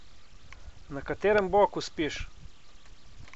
Na katerem boku spiš?